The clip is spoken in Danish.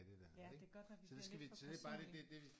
Ja det kan godt være vi bliver lidt for personlige